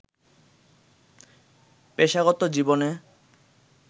পেশাগত জীবনে